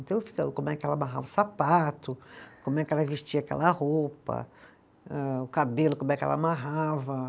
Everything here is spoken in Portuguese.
Então ficava como é que ela amarrava o sapato, como é que ela vestia aquela roupa, âh o cabelo, como é que ela amarrava.